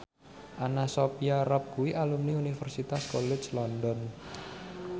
Anna Sophia Robb kuwi alumni Universitas College London